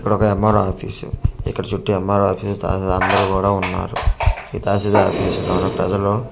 ఇక్కడ ఒక MRO. Office ఇక్కడ చుట్టూ ఏం.ఆర్.ఓ. ఆఫీస్ తహశీల్దార్ అందరూ కూడ ఉన్నారు ఈ తహశీల్దార్ పిలుస్తున్నాడు ఈ ప్రజలు --